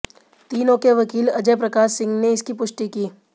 तीनाें के वकील अजय प्रकाश सिंह ने इसकी पुष्टि की